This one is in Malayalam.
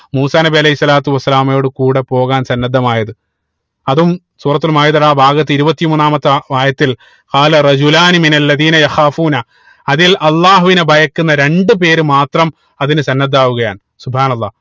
മൂസാ നബി അലൈഹി സ്വലാത്തു വസ്സലാമയുടെ കൂടെ പോകാൻ സന്നദ്ധമായത് അതും സൂറത്തുൽ മാഇതയുടെ ആഹ് ഭാഗത്ത് ഇരുപത്തി മൂന്നാമത്തെ ആയത്തിൽ അതിൽ അല്ലാഹുവിനെ ഭയക്കുന്ന രണ്ട് പേര് മാത്രം അതിന് സന്നദ്ധമാകുകയാണ് അല്ലാഹ്